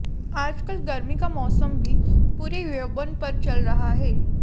आजकल गर्मी का मौसम भी पूरे यौवन पर चल रहा है